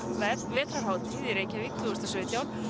vetrarhátíð í Reykjavík tvö þúsund og sautján